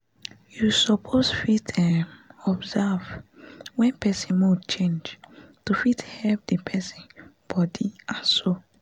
you suppose fit um observe wen person mood change to fit help the person body and soul